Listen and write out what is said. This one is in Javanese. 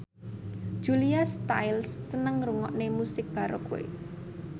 Julia Stiles seneng ngrungokne musik baroque